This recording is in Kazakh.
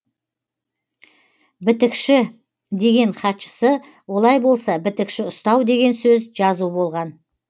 бітікші деген хатшысы олай болса бітікші ұстау деген сөз жазу болған